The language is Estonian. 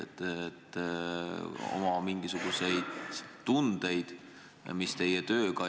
Räägite oma mingisugustest tunnetest.